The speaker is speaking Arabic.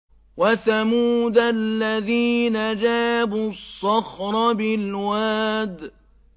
وَثَمُودَ الَّذِينَ جَابُوا الصَّخْرَ بِالْوَادِ